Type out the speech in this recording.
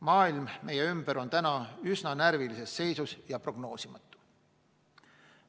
Maailm meie ümber on üsna närvilises seisus ja prognoosimatu.